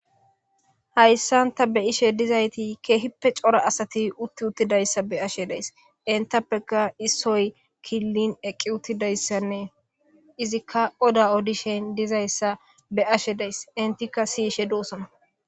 hayssan ta be ishe dizayti keehippe cora asati utti uttidayssa be ashe days intappeka issoy killin eqqi uttidayssanne izikka oda odishen dizayssa be ashe days intikka siyishe doosana